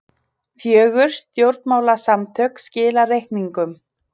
Fjögur stjórnmálasamtök skila reikningum